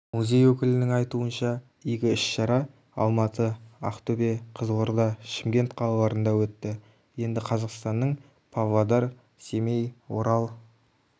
музей өкілінің айтуынша игі іс-шара алматы ақтөбе қызылорда шымкент қалаларында өтті енді қазақстанның павлодар семей орал